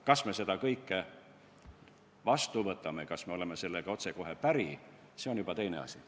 Kas me selle ettepaneku vastu võtame, kas me oleme sellega otsekohe päri, see on juba teine asi.